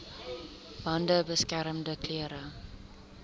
bande beskermende klere